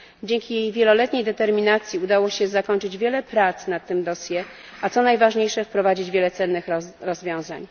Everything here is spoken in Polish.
Dzięki jej wieloletniej determinacji udało się zakończyć wiele prac nad tym dossier, a co najważniejsze wprowadzić wiele cennych rozwiązań.